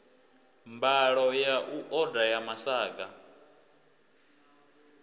mbalo ya oda ya masaga